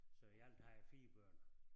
Så i alt har jeg 4 børn